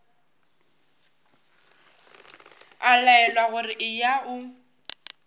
a laelwa gore eya o